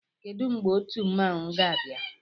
Kedụ mgbe otu mmanwụ ga-abịa?